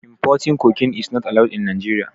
Importing cocaine is not allowed in Nigeria.